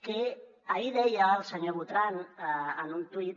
que ahir deia el senyor botran en un tuit